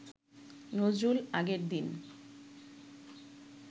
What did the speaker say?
নজরুল আগের দিন